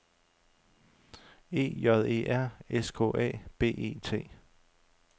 E J E R S K A B E T